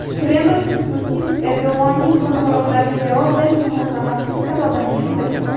Kreml Putin Erdo‘g‘onning qo‘ng‘iroqlariga javob berishni xohlamaslik sababini tushuntirdi.